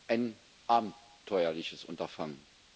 ein abenteuerliches Unterfangen.